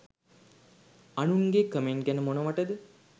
අනුන් ගේ කමෙන්ට් ගැන මොනවටද